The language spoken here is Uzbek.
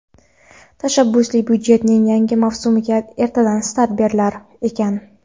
Tashabbusli byudjetning yangi mavsumiga ertadan start berilar ekan.